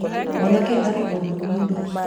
mwanake arĩ o mũnini